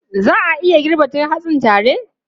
Za a iya girban duk hatsin tare?